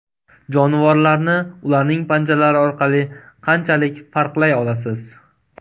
Jonivorlarni ularning panjalari orqali qanchalik farqlay olasiz?